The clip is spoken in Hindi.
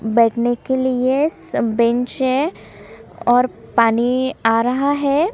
बैठने के लिए सब बेंच है और पानी आ रहा है।